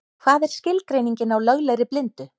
Hvað er skilgreiningin á löglegri blindu?